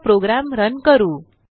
चला program run करू